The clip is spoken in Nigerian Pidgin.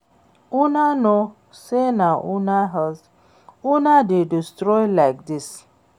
Una no know say na una health una dey destroy like dis